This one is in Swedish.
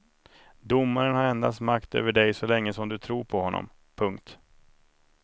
Domaren har endast makt över dig så länge som du tror på honom. punkt